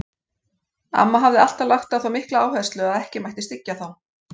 Amma hafði alltaf lagt á það mikla áherslu að ekki mætti styggja þá.